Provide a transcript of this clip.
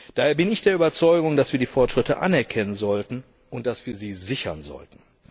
Daher bin ich der Überzeugung, dass wir die Fortschritte anerkennen sollten und dass wir sie sichern sollten.